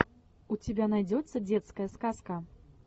у тебя найдется детская сказка